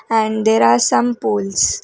and there are some pols.